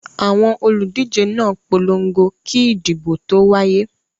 Àwọn olùdíje náà polongo kí ìdìbò tó wáyé.